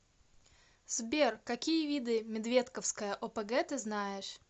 сбер какие виды медведковская опг ты знаешь